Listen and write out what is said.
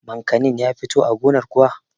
makanin ya fito a gonar kuwa?